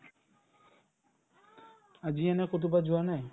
আজি এনে কৰোবাত যোৱা নাই ?